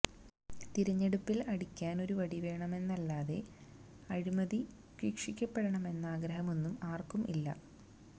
തിരഞ്ഞെടുപ്പില് അടിക്കാന് ഒരു വടിവേണമെന്നല്ലാതെ അഴിമതി ശിക്ഷിക്കപ്പെടണമെന്ന ആഗ്രഹമൊന്നും ആര്ക്കും ഇല്ല